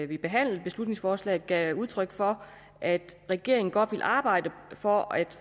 vi behandlede beslutningsforslaget gav udtryk for at regeringen godt vil arbejde for at